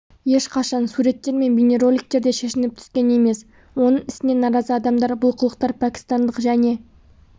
ешқашан суреттер мен бейнероликтерде шешініп түскен емес оның ісіне наразы адамдар бұл қылықтар пәкістандық және